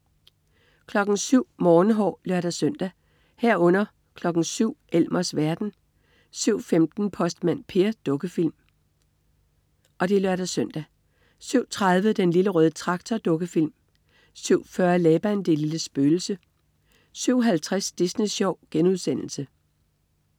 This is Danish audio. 07.00 Morgenhår (lør-søn) 07.00 Elmers verden (lør-søn) 07.15 Postmand Per. Dukkefilm (lør-søn) 07.30 Den Lille Røde Traktor. Dukkefilm 07.40 Laban, det lille spøgelse 07.50 Disney Sjov*